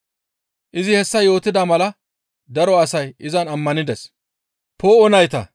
Izi hessa yootida mala daro asay izan ammanides.